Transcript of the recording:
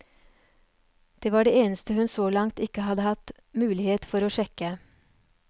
Det var det eneste hun så langt ikke hadde hatt mulighet for å sjekke.